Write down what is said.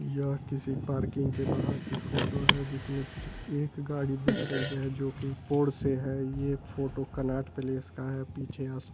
या किसी पार्किंग के बाहर की फोटो है जिसमें सिर्फ एक गाड़ी दिख रही है जो कि पोड़ से है ये फोटो कनाट प्लेस का है पीछे यहां से--